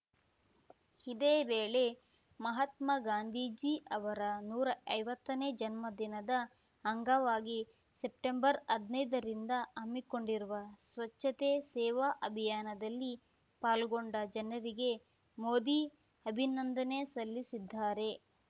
ಇದೇ ವೇಳೆ ಮಹಾತ್ಮ ಗಾಂಧೀಜಿ ಅವರ ನೂರಾ ಐವತ್ತನೇ ಜನ್ಮ ದಿನದ ಅಂಗವಾಗಿ ಸೆಪ್ಟೆಂಬರ್ಹದ್ನೈದರಿಂದ ಹಮ್ಮಿಕೊಂಡಿರುವ ಸ್ವಚ್ಛತೆ ಸೇವಾ ಅಭಿಯಾನದಲ್ಲಿ ಪಾಲ್ಗೊಂಡ ಜನರಿಗೆ ಮೋದಿ ಅಭಿನಂದನೆ ಸಲ್ಲಿಸಿದ್ದಾರೆ